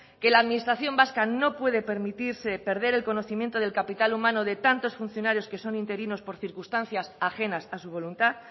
que la administración vasca no puede permitirse perder el conocimiento del capital humano de tantos funcionarios que son interinos por circunstancias ajenas a su voluntad